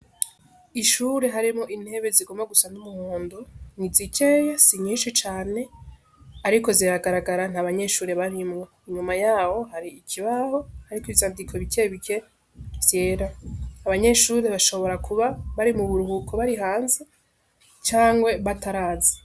Ishure harimo intebe zigomba gusa n'umuhondo ni zikeye si nyinshi cane, ariko ziragaragara nta abanyeshure barimwa inyuma yawo hari ikibaho, ariko ibizandiko bikebike vyera abanyeshure bashobora kuba bari mu buruhuko bari hanze cangwe batarazi.